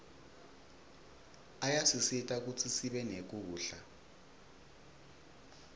ayasisita kutsi sibe nekudla